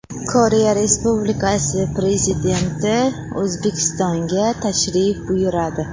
Koreya Respublikasi Prezidenti O‘zbekistonga tashrif buyuradi.